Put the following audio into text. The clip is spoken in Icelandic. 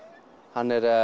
hann er